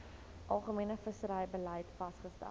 algemene visserybeleid vasgestel